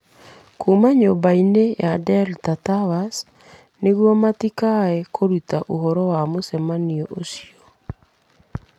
Kuuma nyũmba-inĩ ya Delta Towers, nĩguo matikae kũruta ũhoro wa mũcemanio ũcio.